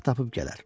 Vaxt tapıb gələr.